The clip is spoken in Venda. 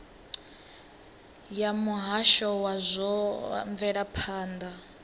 ya muhasho wa zwa mvelaphanda